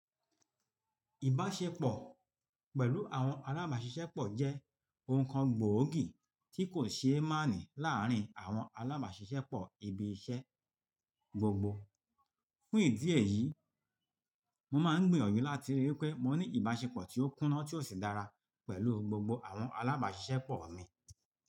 Ìbáṣepọ̀ pẹ̀lú àwọn alábàáṣiṣẹ́pọ̀ jẹ́ ohun kan gbòógì tí kò ṣe é máàní láàárín àwọn alábàáṣiṣẹ́pọ̀ ibi iṣẹ́ gbogbo. Fún ìdí èyí, mo máa ń gbiyanju láti rí pé mo ní ìbáṣepọ̀ tí ó kúná tí ó sì dára pẹ̀lú gbogbo àwọn alábàáṣiṣẹ́pọ̀ mi.